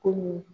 Komi